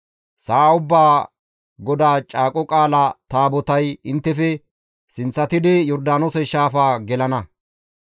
Sa7a ubbaa GODAA Caaqo Qaalaa Taabotay inttefe sinththatidi Yordaanoose shaafaa gelana.